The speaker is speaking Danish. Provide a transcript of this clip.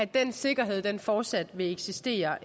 den sikkerhed fortsat vil eksistere